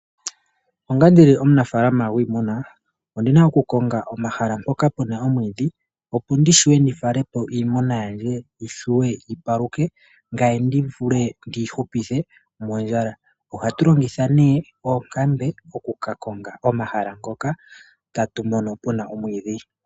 Onga omunafalaama gwiimuna owuna oku konga mpoka puna omwiidhi wu fale po oongombe dhoye dhilye dhiwape dhi paluke ngoye wu vule wuyi hupithe kondjala. Aantu ohaya longitha oonkambe oku konga mpoka puna omwiidhi.